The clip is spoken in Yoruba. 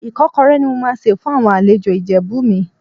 Ìkọ́kọrẹ́ ni mo máa sè fún àwọn àlejò Ìjẹ̀bú mi.